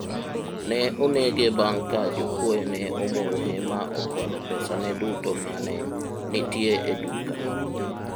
ne onege bang' ka jokwoye ne omonje ma okwalo pesa ne duto mane nitie e duka